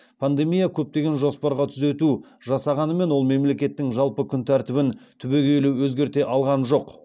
пандемия көптеген жоспарға түзету жасағанымен ол мемлекеттің жалпы күнтәртібін түбегейлі өзгерте алған жоқ